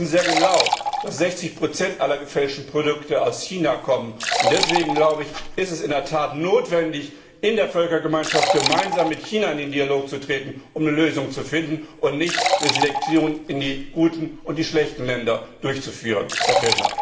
Sie wissen sehr genau, dass 60 aller gefälschten Produkte aus China kommen, und deswegen ist es in der Tat notwendig, in der Völkergemeinschaft gemeinsam mit China in den Dialog zu treten, um eine Lösung zu finden, und nicht eine Selektion in gute und schlechte Länder durchzuführen, Herr Fjellner.